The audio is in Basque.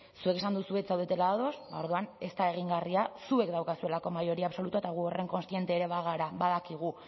zuek esan duzue ez zaudetela ados ba orduan ez da egingarria zuek daukazuelako mayoría absolutoa eta gu horren kontziente ere bagara badakigu